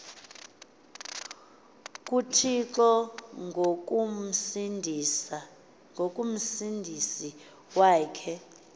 kuthixo ongumsindisi wakhe